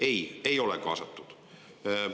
Ei, ei ole kaasatud!